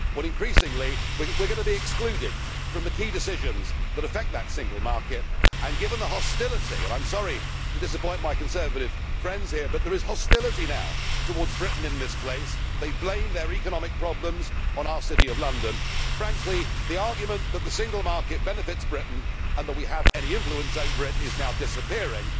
Well, increasingly we are going to be excluded from the key decisions that affect that single market. Given the hostility and I am sorry to disappoint my Conservative friends here, but there is hostility towards Britain in this place now, where people blame their economic problems on our City of London frankly, the argument that the single market benefits Britain and that we have any influence over it is now disappearing,